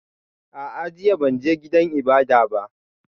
A'a, jiya ban je gidan ibada ba